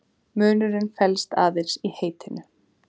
Munurinn felst aðeins í heitinu.